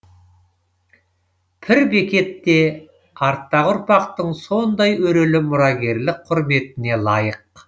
пір бекет те арттағы ұрпақтың сондай өрелі мұрагерлік құрметіне лайық